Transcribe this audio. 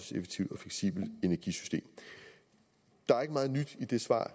fleksibelt energisystem der er ikke meget nyt i det svar